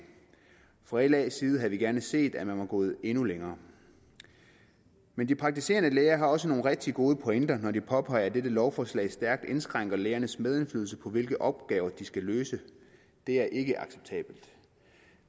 fra las side havde vi gerne set at man var gået endnu længere men de praktiserende læger har også nogle rigtig gode pointer når de påpeger at dette lovforslag stærkt indskrænker lægernes medindflydelse på hvilke opgaver de skal løse det er ikke acceptabelt